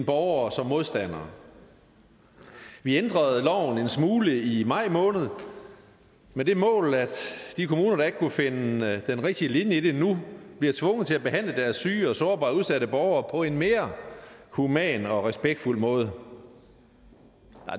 borgere som modstandere vi ændrede loven en smule i maj måned med det mål at de kommuner der ikke kunne finde den rigtige linje i det nu bliver tvunget til at behandle deres syge og sårbare og udsatte borgere på en mere human og respektfuld måde